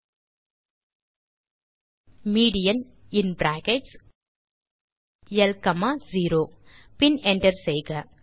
ஆகவே டைப் செய்க median in brackets ல் காமா 0 பின் என்டர் செய்க